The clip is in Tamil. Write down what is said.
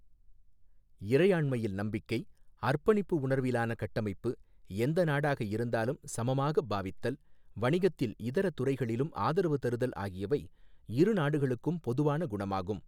இறையாண்மையில் நம்பிக்கை, அர்ப்பணிப்பு உணர்விலான கட்டமைப்பு, எந்த நாடாக இருந்தாலும் சமமாகப் பாவித்தல் வணிகத்தில் இதர துறைகளிலும் ஆதரவு தருதல் ஆகியவை இரு நாடுகளுக்கும் பொதுவான குணமாகும்.